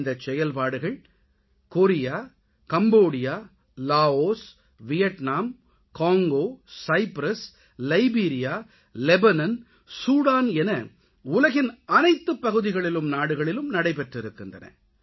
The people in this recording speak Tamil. இந்தச் செயல்பாடுகள் Korea Cambodia Laos Vietnam Congo Cyprus Liberia Lebanon Sudan என உலகின் அனைத்துப் பகுதிகளிலும் நாடுகளிலும் நடைபெற்றிருக்கின்றன